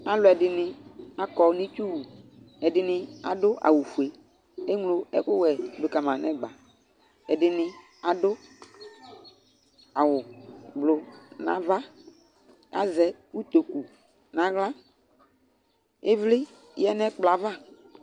Alʋɛdɩnɩ akɔ nʋ itsuwu Ɛdɩnɩ adʋ awʋfue Eŋlo ɛkʋwɛ dʋ ka ma nʋ ɛgba Ɛdɩnɩ adʋ awʋblʋ nʋ ava Azɛ utoku nʋ aɣla Ɩvlɩ yǝ nʋ ɛkplɔ yɛ ava